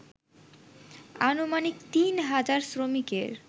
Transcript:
আনুমানিক তিন হাজার শ্রমিকের